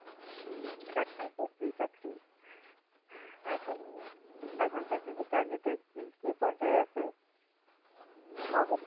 সহজ চাকরি চাকরি চাকরি এখন এখনকার যুগে চাকরি তো কি পর্যায়ে আছে?